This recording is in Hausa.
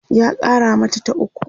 ya Kara mata ta ukwu